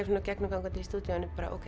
gegnumgangandi í stúdíóinu bara